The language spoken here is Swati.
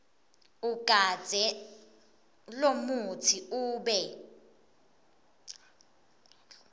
ugandze lomutsi ube